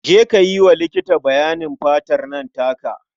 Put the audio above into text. Je ka yi wa likiti bayanin fatar nan taka.